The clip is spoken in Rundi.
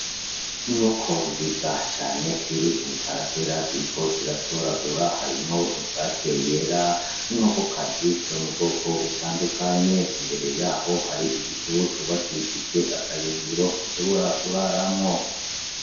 Inkoko nziza cane ziri mw’iparacela Ziriko ziratoragura ,harimwo isake yera n’inkokokazi zo mu Bwoko butandukanye , imbere yaho hari igituru cubakishijwe akayungiro zishobora kuraramwo .